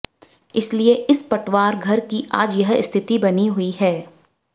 इसलिए इस पटवार घर की आज यह स्थिति बनी हुई है